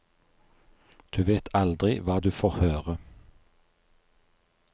Du vet aldri hva du får høre.